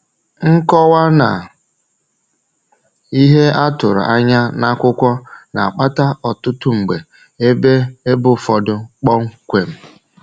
Nkọwa na ihe a tụrụ anya n’akwụkwọ na-akpata ọtụtụ mgbe ebe ebe ụfọdụ kpọmkwem.